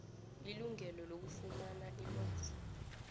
ilungelo lokufumana ilwazi